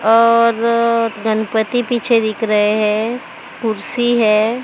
और गनपति पीछे दिख रहे हैं कुर्सी है।